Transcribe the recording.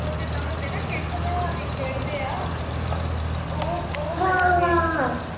ਉਹ ਜਿੱਦਾਂ ਹੁੰਦਾ ਨਾ ਅਹ ਚਿੱਟ ਬਣਾ ਕੇ ਖੇਡਦੇ ਆ, ਉਹ ਅਹ ਉਹ ਕਰਾਂਗੇ ਆਪਾਂ।